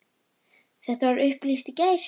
Þetta var upplýst í gær.